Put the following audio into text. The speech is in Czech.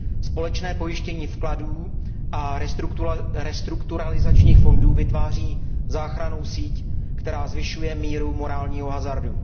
Společné pojištění vkladů a restrukturalizačních fondů vytváří záchrannou síť, která zvyšuje míru morálního hazardu.